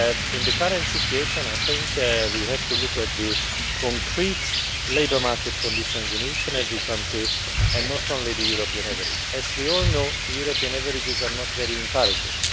In the current situation, I think we have to look at the concrete labour market conditions in each and every country and not only the European average. As we all know, the European averages are not very encouraging.